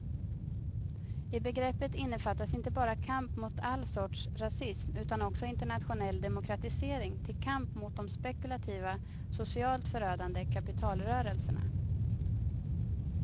I begreppet innefattas inte bara kamp mot all sorts rasism utan också internationell demokratisering till kamp mot de spekulativa, socialt förödande kapitalrörelserna.